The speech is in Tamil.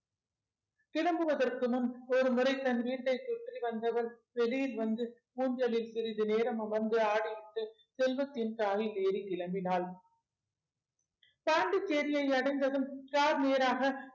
கிளம்புவதற்கு முன் ஒருமுறை தன் வீட்டை சுற்றி வந்தவள் வெளியில் வந்து ஊஞ்சலில் சிறிது நேரம் அமர்ந்து ஆடிவிட்டு செல்வத்தின் car ரில் ஏறி கிளம்பினாள் பாண்டிச்சேரியை அடைந்ததும் car நேராக